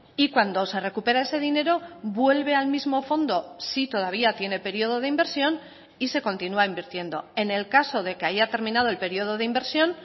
y cuando se recupera ese dinero vuelve al mismo fondo si todavía tiene periodo de inversión y se continúa invirtiendo en el caso de que haya terminado el periodo de inversión